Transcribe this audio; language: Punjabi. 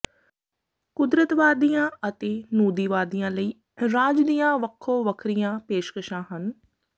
ਕੁਦਰਤਵਾਦੀਆਂ ਅਤੇ ਨੂਦੀਵਾਦੀਆਂ ਲਈ ਰਾਜ ਦੀਆਂ ਵੱਖੋ ਵੱਖਰੀਆਂ ਪੇਸ਼ਕਸ਼ਾਂ ਹਨ